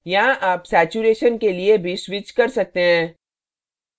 यहाँ आप saturation के लिए भी switch कर सकते हैं